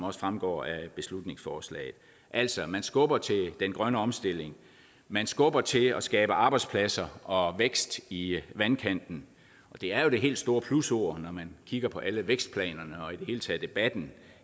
også fremgår af beslutningsforslaget altså man skubber til den grønne omstilling man skubber til det at skabe arbejdspladser og vækst i vandkanten det er jo det helt store plusord når man kigger på alle vækstplanerne og i det til debatten